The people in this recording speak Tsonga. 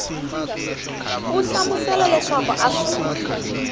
u hlamusela leswaku a swi